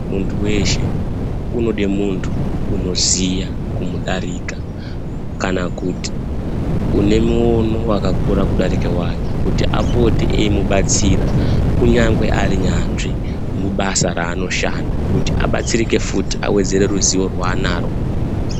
Muntu weshe unode muntu unoziya kumudarika kana kuti une muono wakakura kudarika wake kuti apote eimubatsira kunyangwe ari nyanzvi mubasa raanoshanda kuti abatsirike futi kuti awedzere ruzivo rwaanaro.